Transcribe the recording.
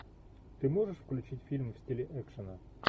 ты можешь включить фильм в стиле экшена